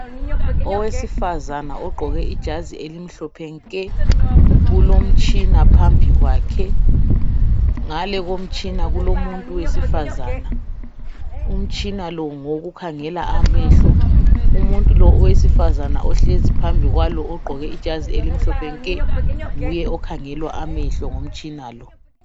Owesifazana ugqoke ijazi elimhlophe nke ulomtshina phambi kwakhe, ngale komtshina kulomuntu wesifazana. Umtshina lo ngowokukhangela amehlo. Umuntu lo owesifazana ohlezi phambili kwalo ogqoke ijazi elimhlophe nke nguye okhangelwa amehlo ngomtshin lo.